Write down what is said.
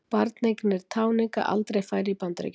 Barneignir táninga aldrei færri í Bandaríkjunum